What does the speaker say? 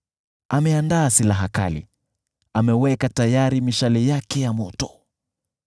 Ameandaa silaha zake kali, ameweka tayari mishale yake ya moto.